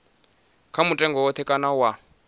kha mutengo woṱhe kana wa